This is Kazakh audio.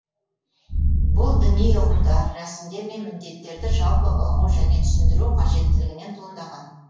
бұл діни ұғымдар рәсімдер мен міндеттерді жалпы ұғу және түсіндіру қажеттілігінен туындаған